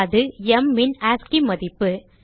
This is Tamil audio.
அது m ன் ஆஸ்சி மதிப்பு